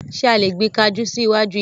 Ṣé a lè gbin kajú sí iwájú ilé?